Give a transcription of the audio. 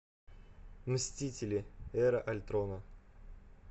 мстители эра альтрона